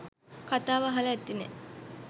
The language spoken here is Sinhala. කතාව අහල ඇතිනේ